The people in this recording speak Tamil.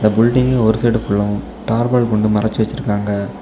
பில்டிங்கு ஒரு சைடு ஃபுல்லா டார்பாலின் கொண்டு மறைச்சு வச்சிருக்காங்க.